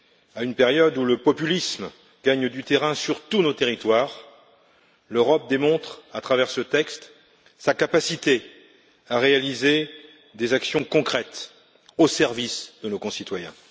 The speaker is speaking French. À une période où le populisme gagne du terrain sur tout notre territoire, l'Europe démontre, à travers ce texte, sa capacité à réaliser des actions concrètes au service de nos concitoyens.